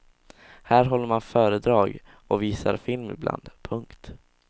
Här håller man föredrag och visar film ibland. punkt